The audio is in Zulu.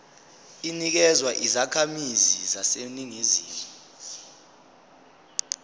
inikezwa izakhamizi zaseningizimu